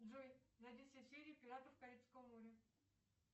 джой найди все серии пиратов карибского моря